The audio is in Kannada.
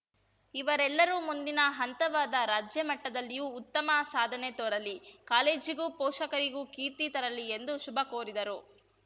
ಇವರೆಲ್ಲರೂ ಮುಂದಿನ ಹಂತವಾದ ರಾಜ್ಯ ಮಟ್ಟದಲ್ಲಿಯೂ ಉತ್ತಮ ಸಾಧನೆ ತೋರಲಿ ಕಾಲೇಜಿಗೂ ಪೋಷಕರಿಗೂ ಕೀರ್ತಿ ತರಲಿ ಎಂದು ಶುಭ ಕೋರಿದರು